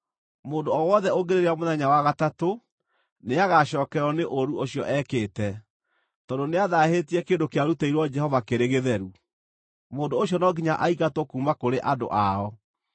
Mũndũ o wothe ũngĩrĩrĩa mũthenya wa gatatũ, nĩagacookererwo nĩ ũũru ũcio ekĩte, tondũ nĩathaahĩtie kĩndũ kĩarutĩirwo Jehova kĩrĩ gĩtheru; mũndũ ũcio no nginya aingatwo kuuma kũrĩ andũ ao.